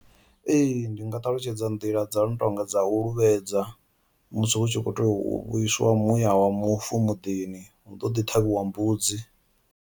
Ee, ndi nga ṱalutshedza nḓila dza no tonga dza u luvhaedza musi hu tshi kho tea u vhuiswa muya wa mufu muḓini hu ḓo ḓi ṱhavhiwa mbudzi.